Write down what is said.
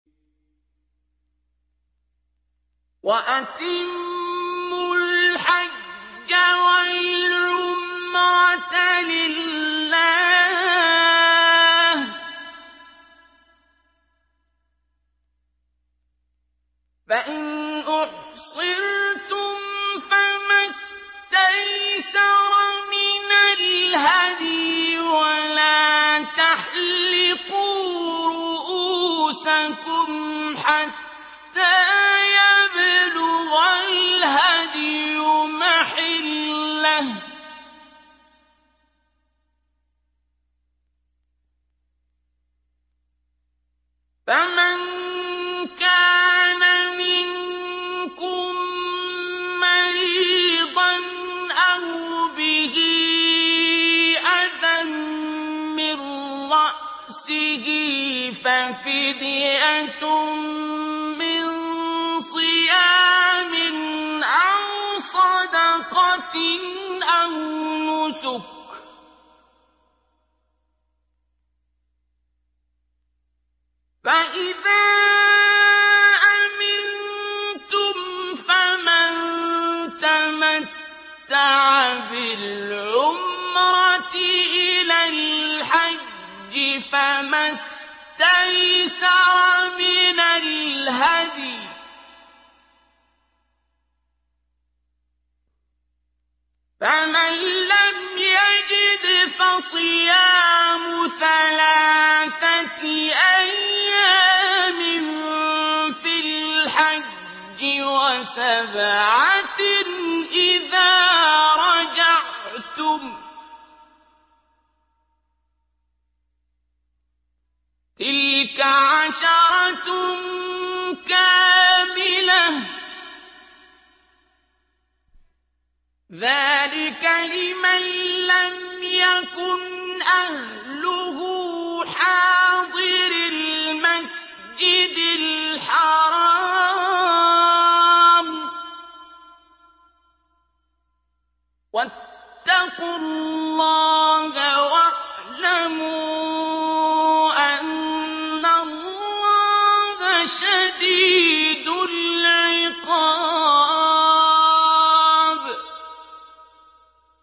وَأَتِمُّوا الْحَجَّ وَالْعُمْرَةَ لِلَّهِ ۚ فَإِنْ أُحْصِرْتُمْ فَمَا اسْتَيْسَرَ مِنَ الْهَدْيِ ۖ وَلَا تَحْلِقُوا رُءُوسَكُمْ حَتَّىٰ يَبْلُغَ الْهَدْيُ مَحِلَّهُ ۚ فَمَن كَانَ مِنكُم مَّرِيضًا أَوْ بِهِ أَذًى مِّن رَّأْسِهِ فَفِدْيَةٌ مِّن صِيَامٍ أَوْ صَدَقَةٍ أَوْ نُسُكٍ ۚ فَإِذَا أَمِنتُمْ فَمَن تَمَتَّعَ بِالْعُمْرَةِ إِلَى الْحَجِّ فَمَا اسْتَيْسَرَ مِنَ الْهَدْيِ ۚ فَمَن لَّمْ يَجِدْ فَصِيَامُ ثَلَاثَةِ أَيَّامٍ فِي الْحَجِّ وَسَبْعَةٍ إِذَا رَجَعْتُمْ ۗ تِلْكَ عَشَرَةٌ كَامِلَةٌ ۗ ذَٰلِكَ لِمَن لَّمْ يَكُنْ أَهْلُهُ حَاضِرِي الْمَسْجِدِ الْحَرَامِ ۚ وَاتَّقُوا اللَّهَ وَاعْلَمُوا أَنَّ اللَّهَ شَدِيدُ الْعِقَابِ